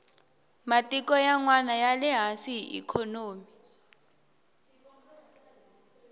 matiko yanwani yale hansi hi ikhonomi